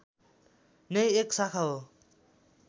नै एक शाखा हो